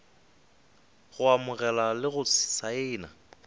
go amogela le go saena